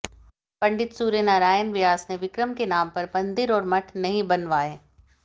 पंडित सूर्यनारायण व्यास ने विक्रम के नाम पर मंदिर और मठ नहीं बनवाए